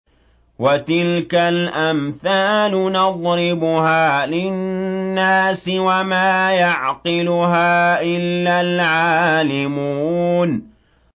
وَتِلْكَ الْأَمْثَالُ نَضْرِبُهَا لِلنَّاسِ ۖ وَمَا يَعْقِلُهَا إِلَّا الْعَالِمُونَ